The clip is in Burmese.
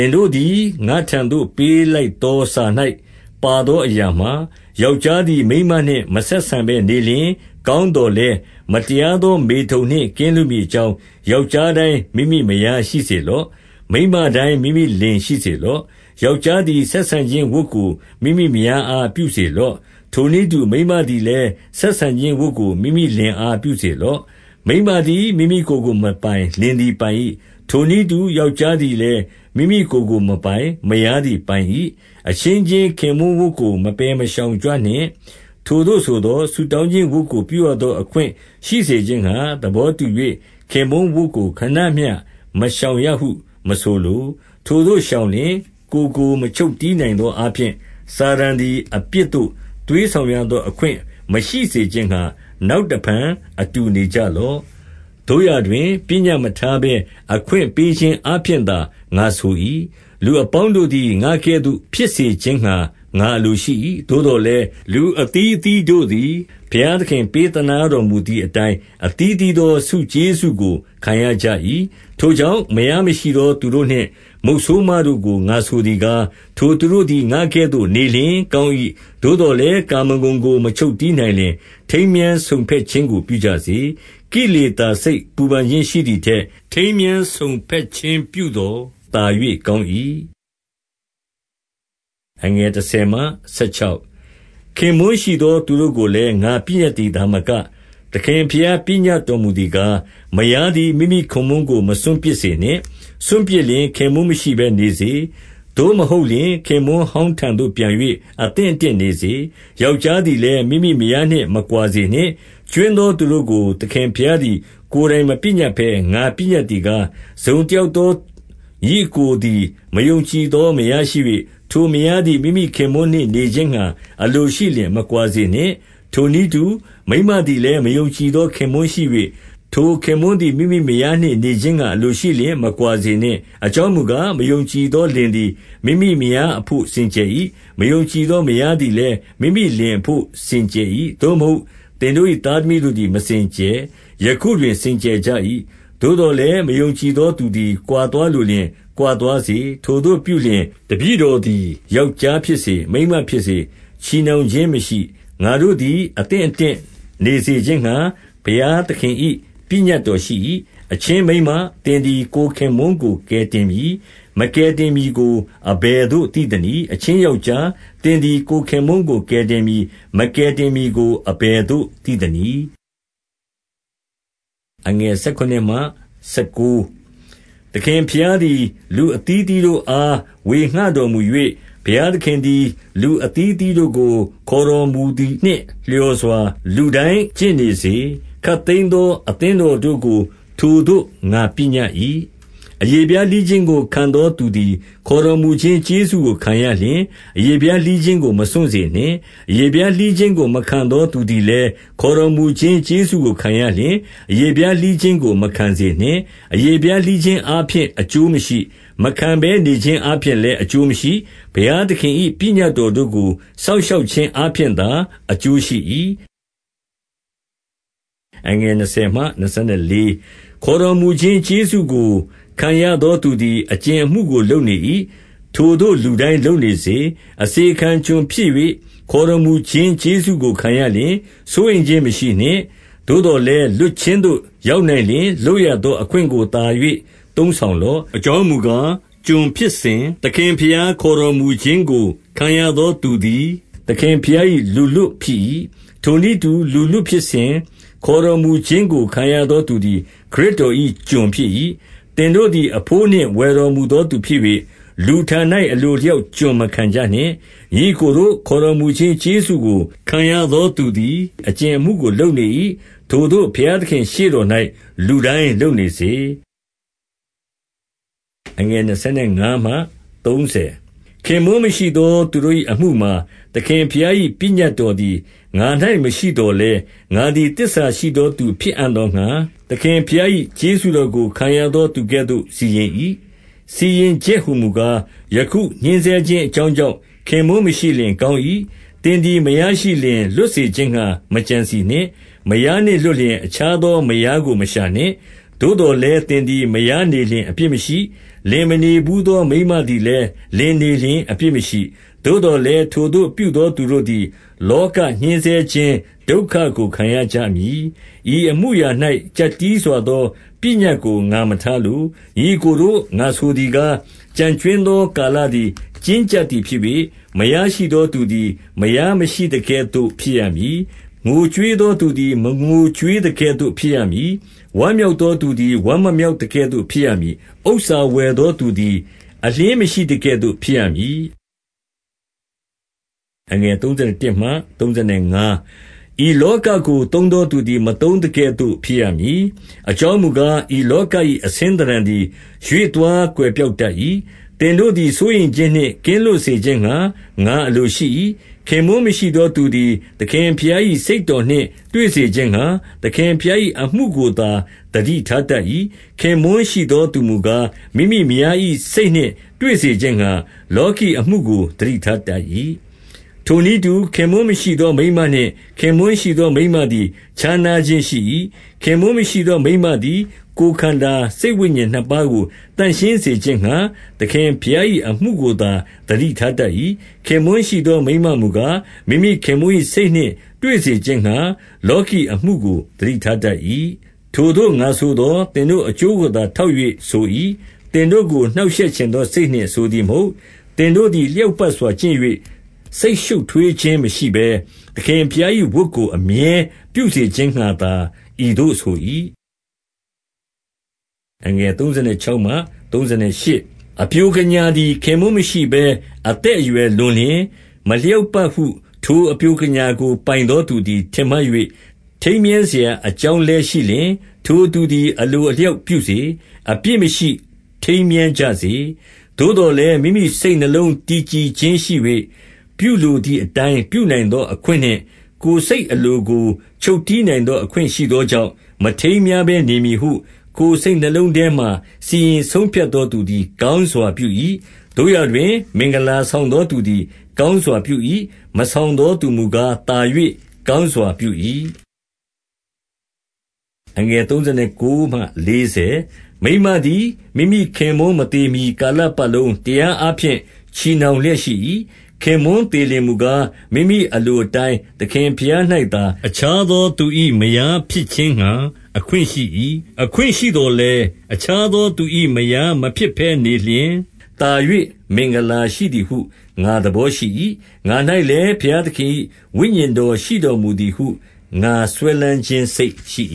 င်တို့သည် ငါ့ထံသို့ပေးလိုက်သောစာ၌ ပါသောအရာမှာ၊ ယောက်ျားသည် မိန်းမနှင့်မဆက်ဆံဘဲ နေလျှင်၊ 2 ကောင်းသော်လည်း၊ မတရားသောမေထုန်နှင့် ကင်းလွတ်မည်အကြောင်း၊ ယောက်ျားတိုင်း မိမိမယား ရှိစေလော့။ မိန်းမတိုင်း မိမိလင်ရှိစေလော့။ 3 ယောက်ျားသည် ဆက်ဆံခြင်းဝတ်ကို မိမိမယားအား ပြုစေလော့။ ထိုနည်းတူ၊ မိန်းမသည်လည်း ဆက်ဆံခြင်းဝတ်ကို မိမိလင်အား ပြုစေလော့။ 4 မိန်းမသည် မိမိကိုယ်ကိုမပိုင်၊ လင်သည်ပိုင်၏။ ထိုနည်းတူ ယောက်ျားသည်လည်း မိမိကိုယ်ကိုမပိုင်၊ မယားသည်ပိုင်၏။ 5 အချင်းချင်းခင်ပွန်းဝတ်ကို မပယ်မရှောင်ကြနှင့်။ ထိုသို့ဆိုသော်၊ ဆုတောင်းခြင်းဝတ်ကိုပြုရသော အခွင့်ရှိစေခြင်းငှါ၊ သဘောတူ၍ ခင်ပွန်းဝတ်ကိုခဏမျှ မရှောင်ရဟု မဆိုလို။ ထိုသို့ရှောင်လျှင်၊ ကိုယ်ကိုမချုပ် တည်းနိုင်သောအားဖြင့် စာတန်သည် အပြစ်သို့ သွေးဆောင်ရသော အခွင့်မရှိစေခြင်းငှါ၊ နောက်တဖန် အတူနေကြလော့။ 6 သို့ရာတွင် ပညတ်မထားဘဲအခွင့်ပေးခြင်း အားဖြင့်သာ ငါဆို၏။ 7 လူအပေါင်းတို့သည် ငါကဲ့သို့ဖြစ်စေခြင်းငှါ ငါအလိုရှိ၏။ သို့သော်လည်း၊ လူအသီး အသီးတို့သည် ဘုရားသခင် ပေးသနားတော်မူသည်အတိုင်း အသီးအသီးသော ဆုကျေးဇူးကို ခံရကြ၏။ 8 ထိုကြောင့်မယားမရှိသော သူတို့နှင့် မုတ်ဆိုးမတို့ကို ငါဆိုသည်ကား၊ ထိုသူတို့သည် ငါကဲ့သို့နေလျှင် ကောင်း၏။ 9 သို့သော်လည်း၊ ကာမဂုဏ်ကို မချုပ်တည်းနိုင်လျှင် ထိမ်းမြားစုံဘက်ခြင်းကို ပြုကြစေ။ ကိလေသာ စိတ်ပူပန်ခြင်းရှိသည်ထက် ထိမ်းမြား စုံဘက်ခြင်း ပြုသော် သာ၍ကောင်း၏။ 10 ခင်ပွန်းရှိသော သူတို့ကိုလည်း၊ ငါပညတ်သည် သာမက၊ သခင်ဘုရား ပညတ်တော်မူသည်ကား၊ မယားသည် မိမိခင်ပွန်းကို မစွန့်ပစ်စေနှင့်။ 11 စွန့်ပစ်လျှင် ခင်ပွန်းမရှိဘဲနေစေ။ သို့မဟုတ်လျှင်၊ ခင်ပွန်းဟောင်းထံသို့ ပြန်၍ အသင့်အတင့်နေစေ။ ယောက်ျားသည်လည်း မိမိမယားနှင့် မကွာစေနှင့်။ 12 ကြွင်းသောသူတို့ကိုသခင်ဘုရားသည် ကိုယ်တိုင်မပညတ်ဘဲ၊ ငါပညတ်သည်ကား၊ တစုံတယောက် သော ညီအစ်ကိုသည် မယုံကြည်သော မယားရှိ၍၊ ထိုမယားသည် မိမိခင်ပွန်းနှင့် နေခြင်းငှါ အလိုရှိလျှင် မကွာစေနှင့်။ 13 ထိုနည်းတူ မိန်းမသည်လည်း၊ မယုံကြည်သော ခင်ပွန်းရှိ၍၊ ထိုခင်ပွန်းသည် မိမိမယားနှင့်နေခြင်းငှါ အလိုရှိလျှင် မကွာစေနှင့်။ 14 အကြောင်းမူကား၊ မယုံကြည်သောလင်သည် မိမိမယားအဘို့ စင်ကြယ်၏။ မယုံကြည်သော မယား သည်လည်း မိမိလင်အဘို့ စင်ကြယ်၏။ သို့မဟုတ်လျှင် သင်တို့၏ သားသမီးသည် မစင်ကြယ်။ ယခုတွင် စင်ကြယ်ကြ၏။ 15 သို့သော်လည်း မယုံကြည်သောသူသည် ကွာသွားလိုလျှင် ကွာသွားစေ။ ထိုသို့ပြုလျှင် တပည့်တော် သည် ယောက်ျားဖြစ်စေ၊ မိန်းမဖြစ်စေ၊ ချည်နှောင်ခြင်းမရှိ။ ငါတို့သည် အသင့်အတင့်နေစေခြင်းငှါ ဘုရားသခင်၏ ပညတ်တော်ရှိ၏။ 16 အချင်းမိန်းမ၊ သင်သည်ကိုယ်ခင်ပွန်းကို ကယ်တင်မည်၊ မကယ်တင်မည်ကို အဘယ်သို့ သိသနည်း။ အချင်းယောက်ျား၊ သင်သည် ကိုယ်ခင်ပွန်းကို ကယ်တင်မည်။ မကယ်တည်မည်ကို အဘယ်သို့သိသနည်း။ 17 သခင်ဘုရားသည် လူအသီးအသီးတို့အား ဝေငှတော်မူ၍၊ ဘုရားသခင်သည် လူအသီးအသီးတို့ကို ခေါ်တော်မူသည်နှင့်လျော်စွာ လူတိုင်းကျင့်နေစေ။ ခပ်သိမ်းသော အသင်းတော်တို့ကို ထိုသို့ငါပညတ်၏။ 18 အရေဖျားလှီးခြင်းကို ခံသောသူသည် ခေါ်တော်မူခြင်းကျေးဇူးကိုခံရလျှင်၊ အရေဖျားလှီးခြင်းကို မစွန့်စေနှင့်။ အရေဖျားလှီးခြင်းကို မခံသောသူသည်လည်း ခေါ်တော်မူခြင်းကျေးဇူးကိုခံရလျှင်၊ အရေဖျား လှီးခြင်းကို မခံစေနှင့်။ 19 အရေဖျားလှီးခြင်းအားဖြင့် အကျိုးမရှိ။ မခံဘဲ နေခြင်းအားဖြင့်လည်း အကျိုးမရှိ။ ဘုရားသခင်၏ ပညတ်တော်တို့ကို စောင့်ရှောက်ခြင်းအားဖြင့်သာ အကျိုးရှိ၏။ 20 ခေါ်တော်မူခြင်းကျေးဇူးကို ခံရသောသူသည် အကြင်အမှုကို လုပ်နေ၏။ ထိုသို့လူတိုင်းလုပ်နေစေ။ 21 အစေခံကျွန်ဖြစ်၍ ခေါ်တော်မူခြင်းကျေးဇူးကို ခံရလျှင် စိုးရိမ်ခြင်းမရှိနှင့်။ သို့သော်လည်းလွတ်ခြင်းသို့ ရောက်နိုင်လျှင် လွတ်ရသော အခွင့်ကိုသာ၍ သုံးဆောင်လော့။ 22 အကြောင်းမူကားကျွန်ဖြစ်စဉ်၊ သခင်ဘုရား ခေါ်တော်မူခြင်းကို ခံရသောသူသည် သခင်ဘုရား၏ လူလွတ်ဖြစ်၏။ ထိုနည်းတူ လူလွတ်ဖြစ်စဉ်၊ ခေါ်တော်မူခြင်းကို ခံရသောသူသည် ခရစ်တော်၏ ကျွန်ဖြစ်၏။ 23 သင်တို့သည် အဘိုးနှင့်ဝယ်တော်မူသောသူ ဖြစ်၍၊ လူထံ၌ အလိုအလျောက်ကျွန်မခံကြနှင့်။ 24 ညီအစ်ကိုတို့၊ ခေါ်တော်မူခြင်းကျေးဇူးကို ခံရသောသူသည် အကြင်အမှုကို လုပ်နေ၏။ ထိုသို့ ဘုရားသခင့်ရှေ့တော်၌ လူတိုင်းလုပ်နေစေ။ 25 ခင်ပွန်းမရှိသောသူတို့၏ အမှုမှာ၊ သခင်ဘုရား၏ပညတ်တော်သည် ငါ၌မရှိသော်လည်း၊ ငါသည် သစ္စာ ရှိသောသူဖြစ်အံ့သောငှါ၊ သခင်ဘုရား၏ ကျေးဇူးတော်ကို ခံရသောသူကဲ့သို့ စီရင်၏။ 26 စီရင်ချက်ဟူမူကား၊ ယခု ညှဉ်းဆဲခြင်း အကြောင်းကြောင့် ခင်ပွန်းမရှိလျှင် ကောင်း၏။ 27 သင်သည်မယားရှိလျှင် လွတ်စေခြင်းငှါ မကြံစည်နှင့်။ မယားနှင့်လွတ်လျှင် အခြားသောမယားကို မရှာနှင့်။ 28 သို့သော်လည်း သင်သည် မယားနေလျှင် အပြစ်မရှိ။ လင်မနေဘူးသော မိန်းမသည်လည်း လင်နေလျှင် အပြစ်မရှိ။ သို့သော်လည်း၊ ထိုသို့ပြုသော သူတို့သည် လောကညှဉ်းဆဲခြင်းဒုက္ခကို ခံရကြမည်။ ဤအမှုအရာ၌ ကျပ်တည်းစွာသော ပညတ်ကို ငါမထားလို။ 29 ညီအစ်ကိုတို့၊ ငါဆိုသည်ကား၊ ကျန်ကြွင်းသော ကာလသည် ကျဉ်းကျပ်သည်ဖြစ်၍၊ မယားရှိသော သူသည် မယားမရှိသကဲ့သို့ ဖြစ်ရမည်။ 30 ငိုကြွေးသောသူသည် မငိုကြွေးသကဲ့သို့ ဖြစ်ရမည်။ ဝမ်းမြောက်သောသူသည် ဝမ်းမမြောက်သကဲ့သို့ ဖြစ်ရမည်။ ဥစ္စာဝယ်သောသူသည် အလျှင်းမရှိသကဲ့သို့ ဖြစ်ရမည်။ 31 ဤလောကကို သုံးသောသူသည် မသုံးသကဲ့သို့ ဖြစ်ရမည်။ အကြောင်းမူကား၊ ဤလောက၏ အဆင်း သဏ္ဌာန်သည်ရွေ့သွား ကွယ်ပျောက်တတ်၏။ 32 သင်တို့သည် စိုးရိမ်ခြင်းနှင့်ကင်းလွတ်စေခြင်းငှါ ငါအလိုရှိ၏။ ခင်ပွန်းမရှိသောသူသည် သခင်ဘုရား၏ စိတ်တော်နှင့်တွေ့စေခြင်းငှါ သခင်ဘုရား၏အမှုကိုသာ သတိထားတတ်၏။ 33 ခင်ပွန်းရှိသောသူမူကား၊ မိမိမယား၏စိတ်နှင့် တွေ့စေခြင်းငှါ လောကီအမှုကို သတိထားတတ်၏။ 34 ထိုနည်းတူ၊ ခင်ပွန်းမရှိသောမိန်းမနှင့် ခင်ပွန်းရှိသော မိန်းမသည် ခြားနားခြင်း ရှိ၏။ ခင်ပွန်းမရှိသော မိန်းမသည် ကိုယ်ခန္ဓာစိတ်ဝိညာဉ်နှစ်ပါးကို သန့်ရှင်းစေခြင်းငှါ သခင်ဘုရား၏အမှုကိုသာ သတိထားတတ်၏။ ခင်ပွန်းရှိသောမိန်းမမူကား၊ မိမိခင်ပွန်း၏စိတ်နှင့် တွေ့စေခြင်းငှါ လောကီအမှုကို သတိထားတတ်၏။ 35 ထိုသို့ငါဆိုသော်၊ သင်တို့အကျိုးကိုသာ ထောက်၍ဆို၏။ သင်တို့ကို နှောင့်ရှက်ချင်သောစိတ်နှင့် ဆိုသည် မဟုတ်။ သင်တို့သည် လျောက်ပတ်စွာကျင့်၍ စိတ်ရှုပ်ထွေးခြင်းမရှိဘဲ၊ သခင်ဘုရား၏ဝတ်ကို အမြဲပြုစေခြင်းငှါသာ ဤသို့ဆို၏။ 36 အပျိုကညာသည် ခင်ပွန်းမရှိဘဲ အသက်အရွယ်လွန်လျှင် မလျောက်ပတ်ဟု ထိုအပျိုကညာကို ပိုင်သောသူသည် ထင်မှတ်၍ ထိမ်းမြားစရာအကြောင်းလည်းရှိလျှင်၊ ထိုသူသည် အလိုအလျောက်ပြုစေ။ အပြစ်မရှိထိမ်းမြားကြစေ။ 37 သို့သော်လည်း မိမိစိတ်နှလုံးတည်ကြည်ခြင်းရှိ၍၊ ပြုလိုသည်အတိုင်း ပြုနိုင်သော အခွင့်နှင့် ကိုယ်စိတ် အလိုကို ချုပ်တည်းနိုင်သော အခွင့်ရှိသောကြောင့်၊ မထိမ်းမြားဘဲနေမည်ဟု ကိုယ်စိတ်နှလုံးထဲမှာ စီရင် ဆုံးဖြတ်သောသူသည် ကောင်းစွာပြု၏။ 38 သို့ရာတွင် မင်္ဂလာဆောင်သောသူသည် ကောင်းစွာပြု၏။ မဆောင်သောသူမူကား၊ သာ၍ ကောင်းစွာပြု၏။ 39 မိန်းမသည် မိမိခင်ပွန်းမသေမှီ ကာလပတ်လုံး တရားအားဖြင့် ချည်နှောင်လျက်ရှိ၏။ ခင်ပွန်းသေလျှင် မူကား၊ မိမိအလိုအတိုင်း သခင်ဘုရား၌သာ အခြားသော သူ၏ မယားဖြစ်ခြင်းငှါ အခွင့်ရှိ၏။ 40 အခွင့်ရှိသော်လည်း၊ အခြားသောသူ၏ မယား မဖြစ်ဘဲနေလျှင်၊ သာ၍မင်္ဂလာရှိသည်ဟု ငါသဘော ရှိ၏။ ငါ၌လည်း ဘုရားသခင်၏ ဝိညာဉ်တော်ရှိတော်မူသည်ဟု ငါစွဲလမ်းခြင်းစိတ်ရှိ